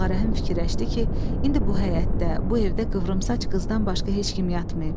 Ağarəhim fikirləşdi ki, indi bu həyətdə, bu evdə qıvrımsaç qızdan başqa heç kim yatmıyıb.